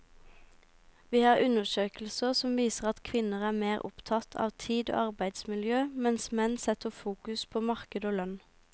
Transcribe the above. Vi har undersøkelser som viser at kvinner er mer opptatt av tid og arbeidsmiljø, mens menn setter fokus på marked og lønn.